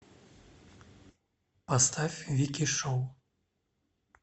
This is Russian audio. поставь вики шоу